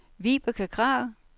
Vibeke Kragh